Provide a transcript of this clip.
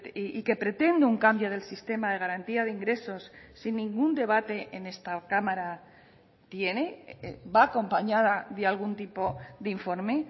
y que pretende un cambio del sistema de garantía de ingresos sin ningún debate en esta cámara tiene va acompañada de algún tipo de informe